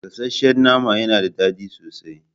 Gasasshen nama yana da daɗi sosai.